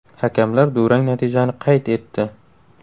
Hakamlar durang natijani qayd etdi.